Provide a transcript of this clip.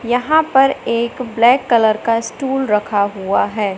यहां पर एक ब्लैक कलर का स्टूल रखा हुआ है।